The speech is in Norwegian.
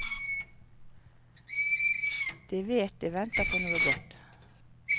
De vet de venter på noe godt.